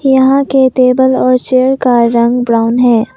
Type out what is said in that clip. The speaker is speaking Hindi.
यहां के टेबल और चेयर का रंग ब्राउन है।